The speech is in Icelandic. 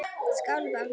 Skál Bangsi.